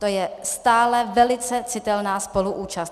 To je stále velice citelná spoluúčast.